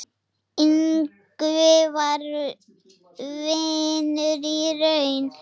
Ingvi var vinur í raun.